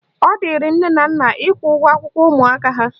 Ọ dịrị nne na nna ịkwụ ụgwọ akwụkwọ ụmụaka ha